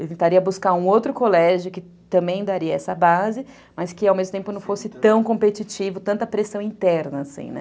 Eu tentaria buscar um outro colégio que também daria essa base, mas que ao mesmo tempo não fosse tão competitivo, tanta pressão interna.